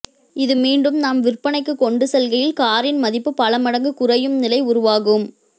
இது மீண்டும் நாம் விற்பனைக்குக் கொண்டு செல்கையில் காரின் மதிப்பு பல மடங்கு குறையும் நிலை உருவாகும்